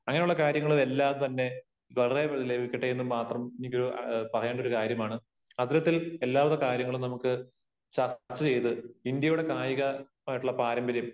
അങ്ങനെ ഉള്ള കാര്യങ്ങൾ എല്ലാം തന്നെ വളരെ വേഗം ലഭിക്കട്ടെ എന്നും മാത്രം എനിക്ക് പറയാനുള്ള ഒരു കാര്യമാണ്. അത്തരത്തിൽ എല്ലാ വിധ കാര്യങ്ങളും നമുക്ക് ചർച്ച ചെയ്ത് ഇന്ത്യയുടെ കായികമായിട്ടുള്ള പാരമ്പര്യം